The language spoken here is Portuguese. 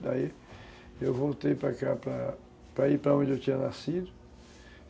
Daí eu voltei para cá, para ir para onde eu tinha nascido.